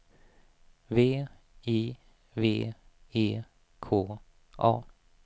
V I V E K A